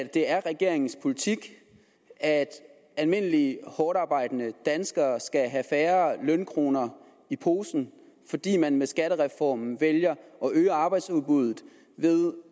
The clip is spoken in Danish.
det er regeringens politik at almindelige hårdtarbejdende danskere skal have færre lønkroner i posen fordi man med skattereformen vælger at øge arbejdsudbuddet ved